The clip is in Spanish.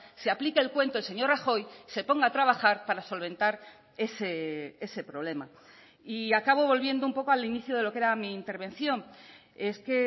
se aplique el cuento el señor rajoy se ponga a trabajar para solventar ese problema y acabo volviendo un poco al inicio de lo que era mi intervención es que